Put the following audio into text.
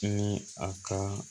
Ni a ka